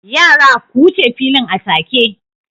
Yara! ku wuce filin atake